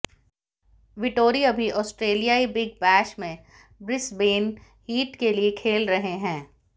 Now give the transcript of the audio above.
Vettori अभी ऑस्ट्रेलियाई Big Bash में ब्रिस्बेन हीट के लिए खेल रहे हैं